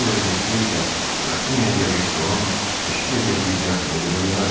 Bu vəziyyətdə isə Qrafinya de Restonun təşkil elədiyi ziyafətə gedə bilməzdi.